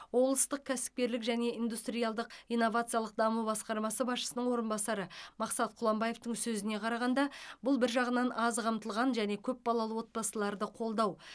облыстық кәсіпкерлік және индустриалдық инновациялық даму басқармасы басшысының орынбасары мақсат құланбаевтың сөзіне қарағанда бұл бір жағынан аз қамтылған және көп балалы отбасыларды қолдау